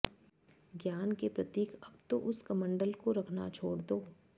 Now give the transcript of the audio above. ज्ञान के प्रतीक अब तो उस कमण्डल को रखना छोड़ दो